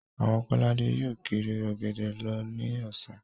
Àwọn Kọ́ládé yóò kiri Ọ̀gẹ̀dẹ̀ lọ ní ọ̀sán